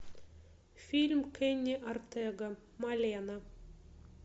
фильм кенни ортега малена